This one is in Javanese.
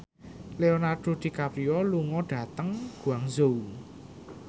Leonardo DiCaprio lunga dhateng Guangzhou